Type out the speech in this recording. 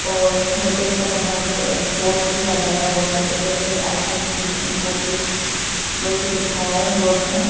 और होटल का बाहर में एक बोर्ड लगाया हुआ है अवेलेबल आइट टी एंड कॉफी बल्कि लिखा है बोर्ड में।